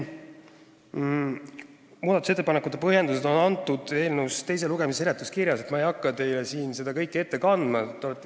Muudatusettepanekute põhjendused on eelnõu teise lugemise seletuskirjas olemas, ma ei hakka siin teile seda kõike ette kandma.